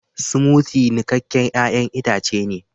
"Smoothie " niƙaken ƴayan itace ne.